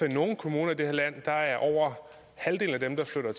at i nogle kommuner i det her land er er over halvdelen af dem der flytter